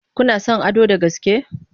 Kuna son Ado da gaske?